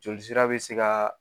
Joli sira bi se ka